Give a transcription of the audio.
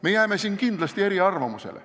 Me jääme siin kindlasti eriarvamusele.